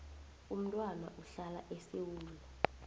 umntwana uhlala esewula